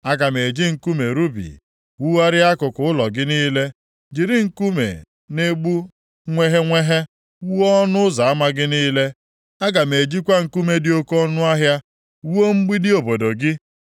Aga m eji nkume rubi wugharịa akụkụ ụlọ gị niile, jiri nkume na-egbu nweghenweghe wuo ọnụ ụzọ ama gị niile. Aga m ejikwa nkume dị oke ọnụahịa wuo mgbidi obodo gị.